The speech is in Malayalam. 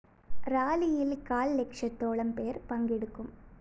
റാലിയില്‍ കാല്‍ ലക്ഷത്തോളം പേര്‍ പങ്കെടുക്കും